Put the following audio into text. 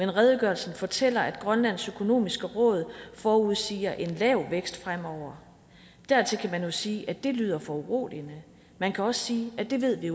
at redegørelsen fortæller at grønlands økonomiske råd forudsiger en lav vækst fremover dertil kan man jo sige at det lyder foruroligende man kan også sige at det ved vi